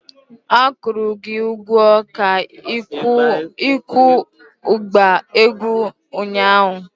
A kwụrụ gị ụgwọ ka ikuo ịgba egwu ụnyahụ!